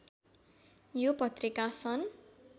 यो पत्रिका सन्